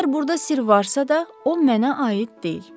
Əgər burda sirr varsa da, o mənə aid deyil.